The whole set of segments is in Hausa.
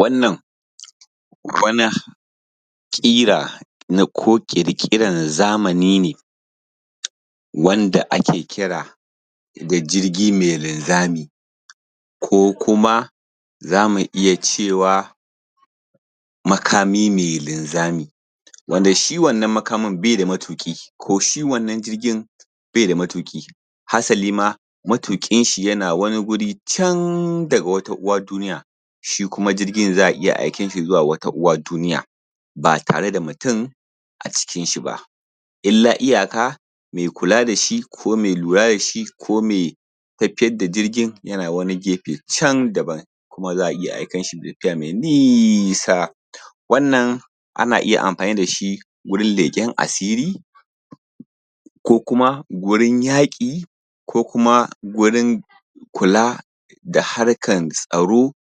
Wannan, wannan, ƙira na koƙe da ƙiran zamanii nee, wanda akee kira da jirgi mai linzamii, ko kumaa zaa mu iya cewa makami mai linzamii. Wanda shi wannan makamin bai da matuƙi, ko shi wannan jirgi bai da matuuƙi, hasalii ma matuuƙin shi yana wanii wurii can daga wata uwa duniya, shi kumaa jirgin zaa a iyaa aiken shi zuwa wata uwa duniya baa tare da mutum acikin shi baa. Ilaa iyaaka mai kula da shi ko mai lura da shi ko mai tafijar da jirgin yana wani gefe can daban, kumaa zaa a iya aiken shi tafiya mai nisa. Wannan ana iyaa amfanii da shi wurin leƙen asiri, ko kumaa wurin yaƙii, ko kumaa wurin kulaa da harkar tsaro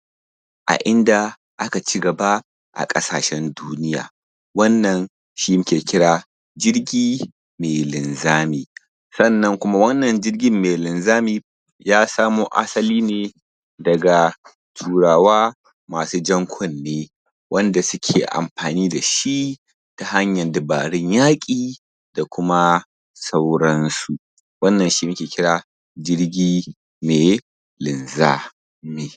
a inda aka cigaba a ƙasashen duniya. Wannan shi muke kira jirgi mai linzamii. Sannan kuma wannan jirgin mai linzamii ya samo asali nee daga turawa masu jan-kunne, wanda suke amfanii da shi ta hanyar dabarun yaƙii da kumaa sauransu. Wannan shi mukee kiira jirgi mai linzamii.